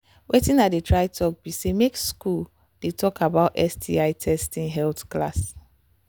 watin i they try talk be say make school they talk about sti testing health class